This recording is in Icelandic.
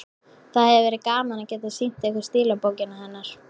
Það hefði verið gaman að geta sýnt ykkur stílabókina hennar.